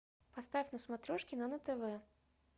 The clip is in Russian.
поставь на смотрешке нано тв